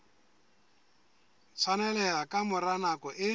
tshwaneleha ka mora nako e